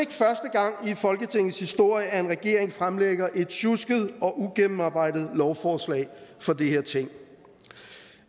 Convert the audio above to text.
gang i folketingets historie at en regering fremlægger et sjusket og ugennemarbejdet lovforslag for det her ting